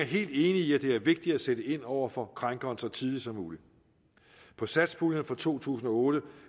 helt enig i at det er vigtigt at sætte ind over for krænkeren så tidligt som muligt på satspuljen for to tusind og otte